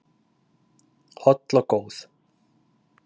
holl og góð